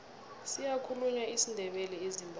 siyakhulunywa isindebele ezimbabwe